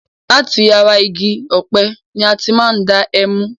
Láti ara igi ọpẹ̀ ní a ti máa ń da ẹmu.